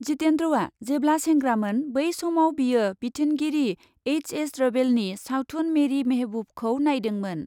जितेन्द्रआ जेब्ला सेंग्रामोन बै समाव बियो बिथोनगिरि एइस एस रभेलनि सावथुन मेरि मेहेबुबखौ नायदोंमोन ।